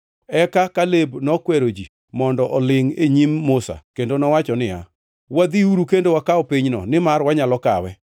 Eka Kaleb nokwero ji mondo olingʼ e nyim Musa kendo nowacho niya, “Wadhiuru kendo wakaw pinyno, nimar wanyalo kawe.”